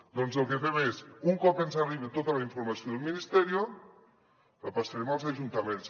doncs el que fem és un cop ens arribi tota la informació del ministerio la passarem als ajuntaments